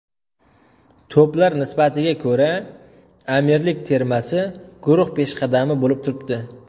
To‘plar nisbatiga ko‘ra Amirlik termasi guruh peshqadami bo‘lib turibdi.